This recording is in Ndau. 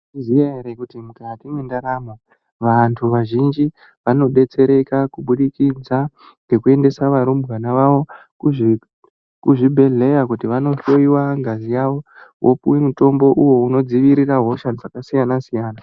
Mwaizviziya ere kuti mukati mwendaramo vanhu vazhinji vanodetsereka kubudikidza ngekuendese varumbwana wavo kuzvibhehleya kuti vanohloyiwa ngazi yavo vopuwe mutombo uyo unodziirire hosha dzakasiyanasiyana.